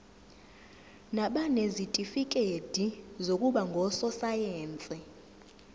nabanezitifikedi zokuba ngososayense